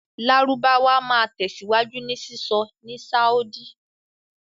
Lárúbáwá máa tẹ̀síwájú ní sísọ ní Sáúdí.